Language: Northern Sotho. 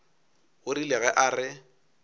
o rile ge a re